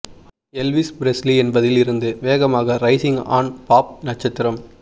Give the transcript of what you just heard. Elvis Presley என்பதில் இருந்து வேகமாக ரைசிங் ஆண் பாப் நட்சத்திரம்